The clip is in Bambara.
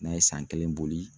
N'a ye san kelen boli